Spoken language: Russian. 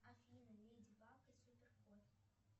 афина леди баг и супер кот